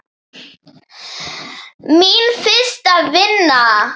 Mín fyrsta vinna.